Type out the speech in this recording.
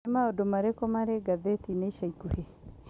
Nĩ maũndũ marĩkũ marĩ ngathĩti-inĩ ica ikuhĩ?